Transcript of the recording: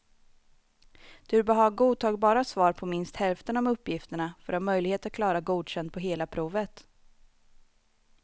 Du bör ha godtagbara svar på minst hälften av uppgifterna för att ha möjlighet att klara godkänd på hela provet.